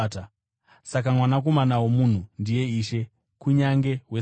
Saka Mwanakomana woMunhu ndiye Ishe kunyange weSabata.”